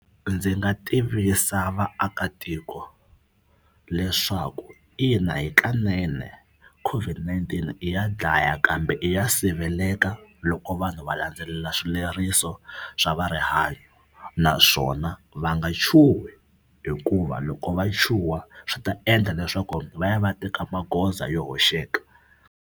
Ndzi nga tivisa vaakatiko leswaku ina hikanene COVID-19 i ya dlaya kambe i ya siveleka loko vanhu va landzelela swileriso swa va rihanyo naswona va nga chuhi hikuva loko va chuha swi ta endla leswaku va ya va ya teka magoza yo hoxeka.